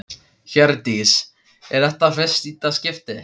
Hjördís: Er þetta í fyrsta skipti?